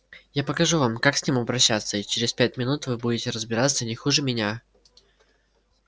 я покажу вам как с ним обращаться и через пять минут вы будете разбираться не хуже меня